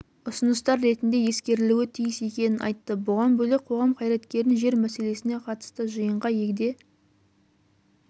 ұсыныстар ретінде ескерілуі тиіс екенін айтты бұған бөлек қоғам қайраткерін жер мәселесіне қатысты жиынға егде